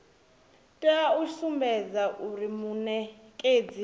tea u sumbedza zwauri munekedzi